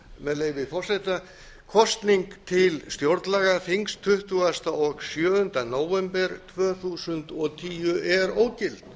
með leyfi forseta kosning til stjórnlagaþings tuttugasta og sjöunda nóvember tvö þúsund og tíu er ógild